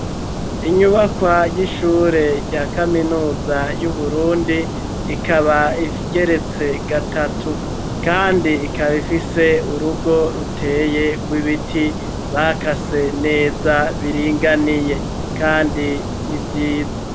Inyubakwa ry'ishure rya kaminuza y'uburundi ikaba igeretse gatatu kandi ikaba ifise urugo ruteye rw'ibiti bakase neza biringaniye kandi n'ivyiza.